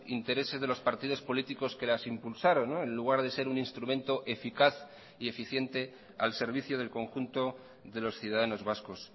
intereses de los partidos políticos que las impulsaron en lugar de ser un instrumento eficaz y eficiente al servicio del conjunto de los ciudadanos vascos